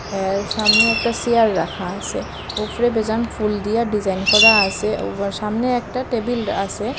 এর সামনে একটা সিয়ার রাখা আসে উফরে বেজান ফুল দিয়া ডিজাইন করা আসে ওবার সামনে একটা টেবিল আসে।